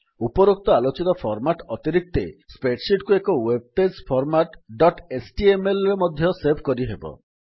ଉପରୋକ୍ତ ଆଲୋଚିତ ଫର୍ମାଟ୍ସ ଅତିରିକ୍ତେ spreadsheetକୁ ଏକ web page format dot HTML ରେ ମଧ୍ୟ ସେଭ୍ କରିହେବ